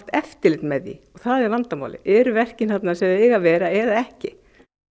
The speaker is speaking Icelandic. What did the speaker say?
eftirlit með því og það er vandamálið eru verkin þar sem þau eiga að vera eða ekki